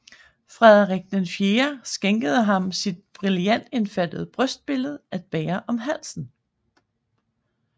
Frederik IV skænkede ham sit brillantindfattede brystbillede at bære om halsen